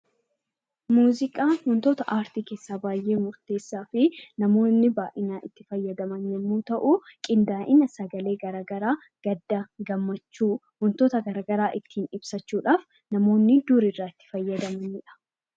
Muuziqaan wantoota aartii keessaa baay'ee murteessaa fi namoonni baay'inaan itti fayyadaman qindaa'ina sagalee garaagaraa gaddaa fi gammachuu wantoota garaagaraa ittiin ibsachuudha. Namoonni dur irraa itti fayyadamanidha .